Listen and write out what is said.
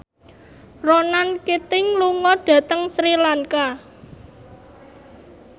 Ronan Keating lunga dhateng Sri Lanka